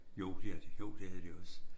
Jo det havde de jo det havde de også